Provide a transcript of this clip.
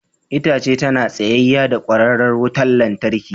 Itace tana tsayayya da kwararar wutar lantarki.